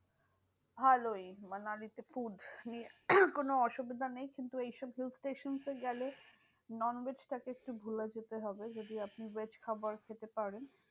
ভালোই মানালিতে food নিয়ে কোনো অসুবিধা নেই। কিন্তু এইসব hill station এ গেলে, non veg টাকে একটু ভুলে যেতে হবে যদি আপনি veg খাবার খেতে পারেন।